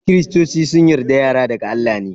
kiristoci sun yarda yara daga Allah ne.